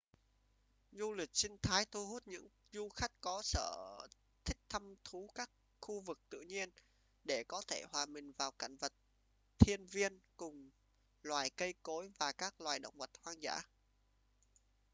du lịch sinh thái thu hút những du khách có sở thích thăm thú các khu vực tự nhiên để có thể hoà mình vào cảnh vật thiên viên cùng loài cây cối và các loài động vật hoang dã